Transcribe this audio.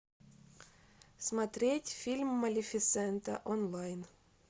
смотреть фильм малефисента онлайн